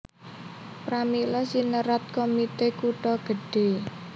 Pramila sinerat Komite Kutha Gedhe